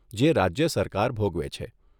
જે રાજ્ય સરકાર ભોગવે છે.